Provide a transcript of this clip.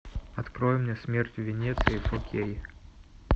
открой мне смерть в венеции фор кей